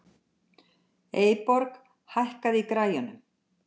Eyborg, hækkaðu í græjunum.